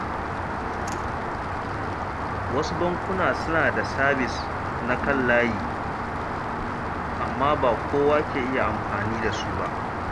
Wasu bankuna suna da sabis na kan layi, amma ba kowa ke iya amfani da su ba.